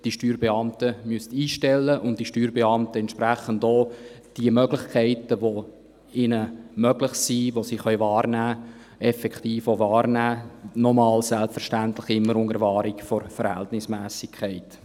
Die Steuerbeamten sollten die Möglichkeiten, die sie wahrnehmen können, effektiv auch wahrnehmen – noch einmal: immer unter Wahrung der Verhältnismässigkeit.